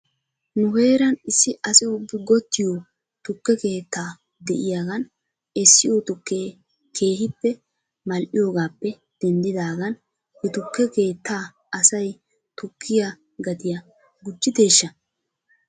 Nu heeran issi asi ubbi gottiyo tukke keetta de'iyaagan essiyoo tukkee keehippe mal'iyoogaappe denddidaagan he tukke keettaa asay tukkiyaa gatiyaa gujjideeshsha?